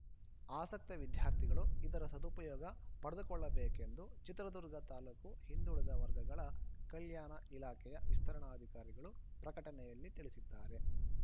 ಆಸಕ್ತ ವಿದ್ಯಾರ್ಥಿಗಳು ಇದರ ಸದುಪಯೋಗ ಪಡಿಕೊಳ್ಳಬೇಕೆಂದು ಚಿತ್ರದುರ್ಗ ತಾಲೂಕು ಹಿಂದುಳಿದ ವರ್ಗಗಳ ಕಲ್ಯಾಣ ಇಲಾಖೆಯ ವಿಸ್ತರಣಾಧಿಕಾರಿಗಳು ಪ್ರಕಟಣೆಯಲ್ಲಿ ತಿಳಿಸಿದ್ದಾರೆ